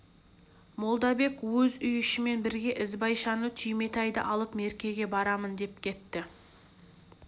молдабек өз үй ішімен бірге ізбайшаны түйметайды алып меркеге барамын деп кетті